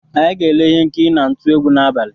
Anyị ga-ele ihe nkiri na-ntụ egwu n’abalị